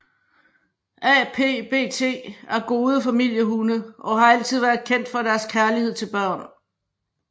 APBT er gode familiehunde og har altid været kendt for deres kærlighed til børn